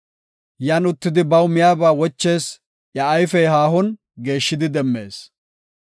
Yan uttidi baw miyaba wochees; iya ayfey haahon geeshshidi demmees.